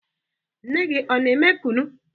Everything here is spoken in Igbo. Nne gị ọ na-eme kunu?